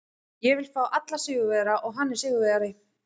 Ég vil fá alla sigurvegara og hann er sigurvegari.